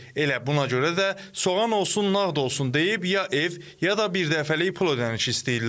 Elə buna görə də soğan olsun, nağd olsun deyib ya ev, ya da birdəfəlik pul ödənişi istəyirlər.